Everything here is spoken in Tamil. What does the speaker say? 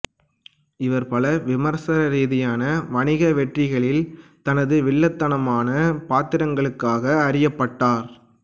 இவர் பல விமர்சன ரீதியான வணிக வெற்றிகளில் தனது வில்லத்தனமான பாத்திரங்களுக்காக அறியப்பட்டார்